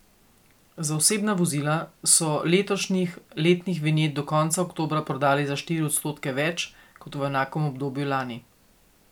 Za osebna vozila so letošnjih letnih vinjet do konca oktobra prodali za štiri odstotke več kot v enakem obdobju lani.